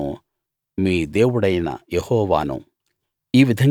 నేను మీ దేవుడైన యెహోవాను